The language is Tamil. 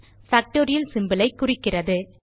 பாக்டோரியல் symbolஐ குறிக்கிறது